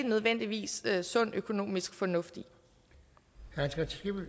nødvendigvis er sund økonomisk fornuft